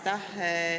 Aitäh!